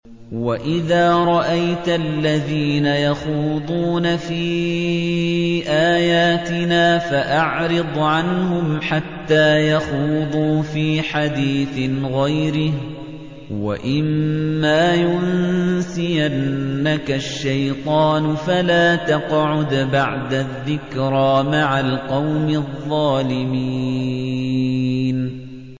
وَإِذَا رَأَيْتَ الَّذِينَ يَخُوضُونَ فِي آيَاتِنَا فَأَعْرِضْ عَنْهُمْ حَتَّىٰ يَخُوضُوا فِي حَدِيثٍ غَيْرِهِ ۚ وَإِمَّا يُنسِيَنَّكَ الشَّيْطَانُ فَلَا تَقْعُدْ بَعْدَ الذِّكْرَىٰ مَعَ الْقَوْمِ الظَّالِمِينَ